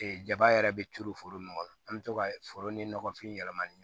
jaba yɛrɛ bɛ turu foro min kɔnɔ an bɛ to ka foro ni ɲɔgɔnfin yɛlɛma ni